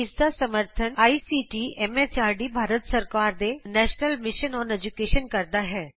ਇਸ ਦਾ ਸਮਰੱਥਨ ਆਈਸੀਟੀ ਐਮ ਐਚਆਰਡੀ ਭਾਰਤ ਸਰਕਾਰ ਦੇ ਨੈਸ਼ਨਲ ਮਿਸ਼ਨ ਅੋਨ ਏਜੂਕੈਸ਼ਨਕਰਦਾ ਹੈ